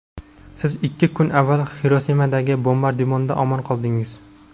siz ikki kun avval Xirosimadagi bombardimondan omon qoldingiz.